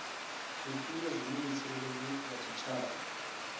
zwifhio zwine mutsireledzi wa tshitshavha